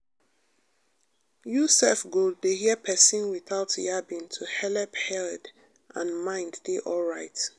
you self go dey hear persin without yabbing to helep head and mind dey alright.